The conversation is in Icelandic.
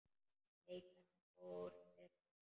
Nei, hvernig fór fyrir honum?